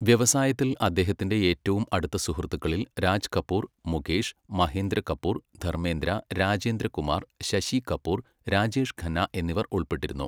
വ്യവസായത്തിൽ അദ്ദേഹത്തിന്റെ ഏറ്റവും അടുത്ത സുഹൃത്തുക്കളിൽ രാജ് കപൂർ, മുകേഷ്, മഹേന്ദ്ര കപൂർ, ധർമേന്ദ്ര, രാജേന്ദ്ര കുമാർ, ശശി കപൂർ, രാജേഷ് ഖന്ന എന്നിവർ ഉൾപ്പെട്ടിരുന്നു.